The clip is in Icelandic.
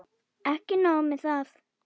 En ekki nóg með það.